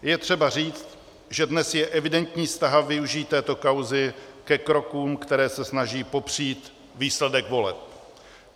Je třeba říct, že dnes je evidentní snaha využít této kauzy ke krokům, které se snaží popřít výsledek voleb.